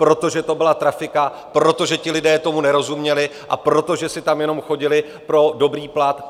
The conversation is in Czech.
Protože to byla trafika, protože ti lidé tomu nerozuměli a protože si tam jenom chodili pro dobrý plat.